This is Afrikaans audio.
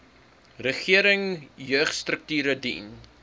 regering jeugstrukture dien